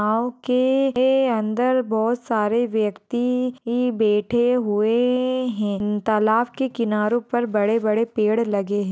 नाव के अंदर बहुत सारे व्यक्ति ही बेठे हुवे अहम तालाव के किनारों पर बड़े-बड़े पेड़ लगे है।